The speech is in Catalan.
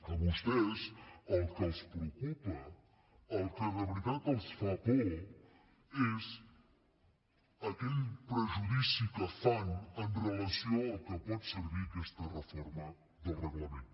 a vostès el que els preocupa el que de veritat els fa por és aquell prejudici que fan amb relació a pel que pot servir aquesta reforma del reglament